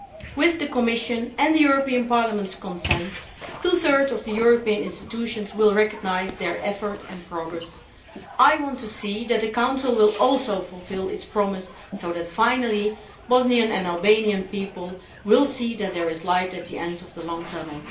With the Commission's and the European Parliament's consent, two thirds of the European institutions will recognise their effort and progress. I want to see the Council also fulfilling its promise so that, finally, Bosnian and Albanian people will see that there is light at the end of the long tunnel.